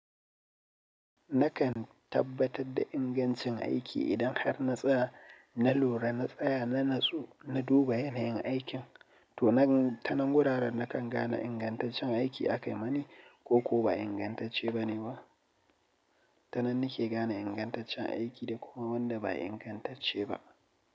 Nakan tabbatar da ingancin aiki idan har na tsaya, na lura, na tsaya, na natsu, na duba yanayin aikin. To, nan ta nan guraren nakan gane ingantaccen aiki akayi mani ko ko ba ingantacce bane ba. Ta nan nake gane ingantaccen aiki da kuma wanda ba ingantacce ba.